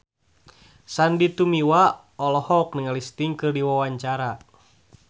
Sandy Tumiwa olohok ningali Sting keur diwawancara